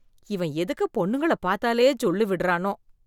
இவன் எதுக்கு பொண்ணுங்களை பார்த்தாலே ஜொள்ளு விடறானோ?